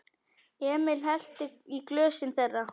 Emil hellti í glösin þeirra.